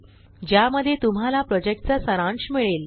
ज्यामध्ये तुम्हाला प्रॉजेक्टचा सारांश मिळेल